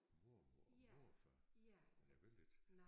Mormor og morfar men jeg vil ikke